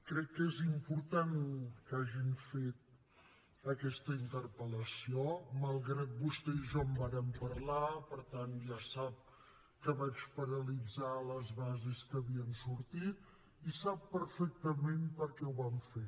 crec que és important que hagin fet aquesta interpel·lació malgrat que vostè i jo en vàrem parlar per tant ja sap que vaig paralitzar les bases que havien sortit i sap perfectament per què ho vam fer